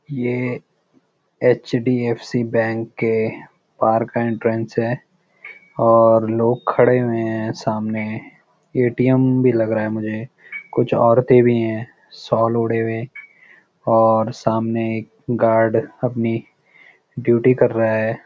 ये HDFC. Bank के बहार का एंट्रेंस है और लोग खड़े हुए हैं सामने ए.टी.एम. भी लग रहा हैं मुझे कुछ औरते भी हैं शॉल ओढ़े हुए और सामने एक गार्ड अपनी डयृटी कर रहा है।